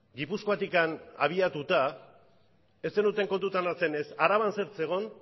gipuzkoatik abiatuta ez zenuten kontutan hartzen ez araban zer zegoen